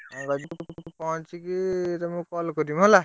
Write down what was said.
ଆଉ ମୁଁ ପହଁଚିକି ତମକୁ call କରିବି ହେଲା?